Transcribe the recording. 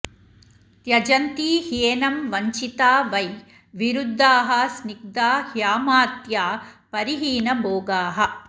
त्यजन्ति ह्येनं वञ्चिता वै विरुद्धाः स्निग्धा ह्यमात्या परिहीनभोगाः